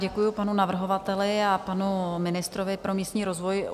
Děkuji panu navrhovateli a panu ministrovi pro místní rozvoj.